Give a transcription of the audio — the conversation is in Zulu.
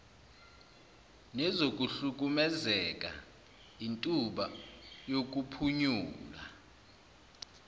nezokuhlukumezeka intuba yokuphunyula